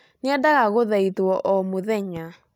Nĩendaga kũthaithwo o mũthenya